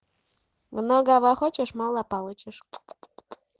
много хочешь мало получишь